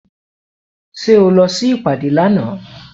Ṣé o lọ sí ìpàdé lánàá?